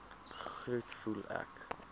groet voel ek